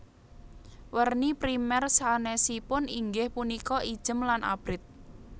Werni primèr sanèsipun inggih punika ijem lan abrit